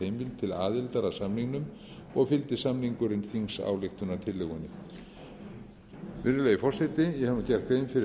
heimild til aðildar að samningnum og fylgdi samningurinn þingsályktunartillögunni virðulegi forseti ég hef nú gert grein fyrir